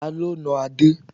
Ta ló nà Adé?